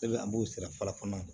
an b'o sira fara fana